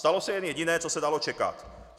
Stalo se jen jediné, co se dalo čekat.